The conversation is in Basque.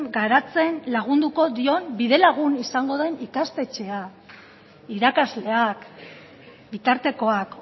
garatzen lagunduko dion bidelagun izango den ikastetxea irakasleak bitartekoak